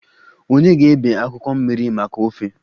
Ònye ga-ebe akwụkwọ mmiri maka ofe?